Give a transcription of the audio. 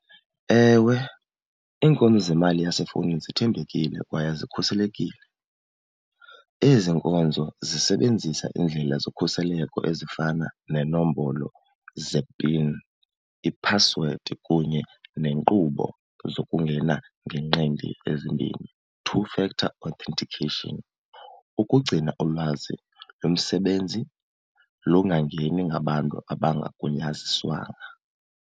Ewe, iinkonzo zemali yasefowunini zithembekile kwaye zikhuselekile. Ezi nkonzo zisebenzisa iindlela zokhuseleko ezifana nenombolo ze-pin, iphasiwedi kunye neenkqubo zokungena ngenqindi ezimbini, two factor authentication. Ukugcina ulwazi lomsebenzi lungangeni ngabantu abangagunyaziswanga.